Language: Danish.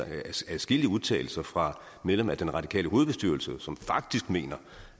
adskillige udtalelser fra medlemmer af den radikale hovedbestyrelse som faktisk mener